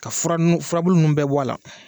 Ka furanu furabulu ninnu bɛ bɔ la.